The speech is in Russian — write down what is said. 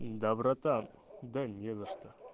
доброта да не за что